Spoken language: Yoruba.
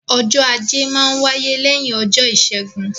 Ọjọ́ Ajé máa n wáyé lẹ́yìn ọjọ́ Ìṣẹ́gun